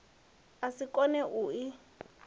a si koe u i